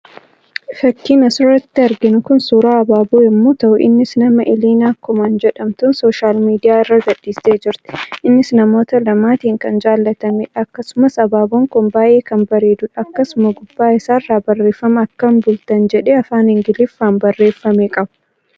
Fakkiin asirratti arginu ku suuraa abaaboo yemmuu tahuu innis nama"Elena coman" jedhamtuun social media irra gadhiistee jirti. Innis namoota lamaatiin kan jaallatameedha. Akkasumas abaaboon kun baayee kan bareeduudha. Akkasuma gubbaa isaarran barreeffama akkam bultan jedhee Afaan ingiliiffaan barreeffame qaba.